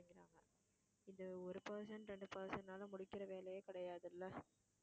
இது ஒரு person இரண்டு person னால முடிக்கிற வேலையே கிடையாதுல்ல